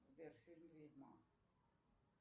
сбер фильм ведьмак